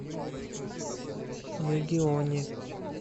мегионе